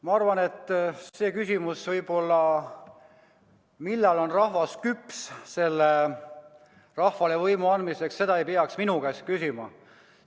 Ma arvan, et seda, millal on rahvas küllalt küps, et talle saaks võimu anda, ei peaks minu käest küsima.